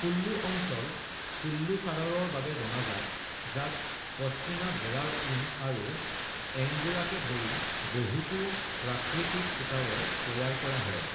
কুল্লু অঞ্চল কুল্লু চাদৰৰ বাবে জনাজাত, যাক পশমিনা, ভেড়াৰ ঊণ আৰু এংগোৰাকে ধৰি বহুতো প্ৰাকৃতিক সূতাৰে তৈয়াৰ কৰা হয়।